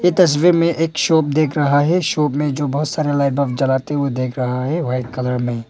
इस तस्वीर में एक शॉप देख रहा है शॉप में जो बहुत सारे लाइट बल्ब जलाते हुए देख रहा है वाइट कलर में।